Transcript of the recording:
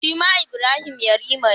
Shi ma Ibrahim yarima ne.